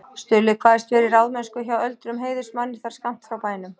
Stulli kvaðst vera í ráðsmennsku hjá öldruðum heiðursmanni þar skammt frá bænum.